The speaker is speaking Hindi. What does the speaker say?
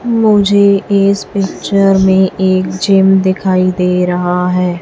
मुझे इस पिक्चर में एक जिम दिखाई दे रहा है।